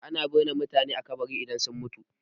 Ana binne mutane a kabari idan sun mutu.